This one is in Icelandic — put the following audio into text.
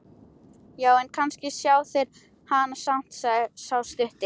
Já, en kannski sjá þeir hana samt, sagði sá stutti.